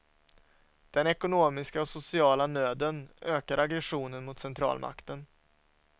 Den ekonomiska och sociala nöden ökar aggressionen mot centralmakten.